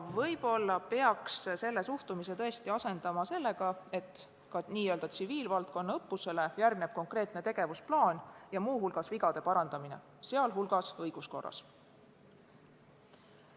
Võib-olla peaks sellise suhtumise asendama sellisega, et ka n-ö tsiviilvaldkonna õppusele järgneks konkreetne tegevusplaan ja muu hulgas vigade parandamine, sh õiguskorras.